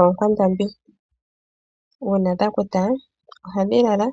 Ookwandambi. Uuna dhakuta ohadhi lala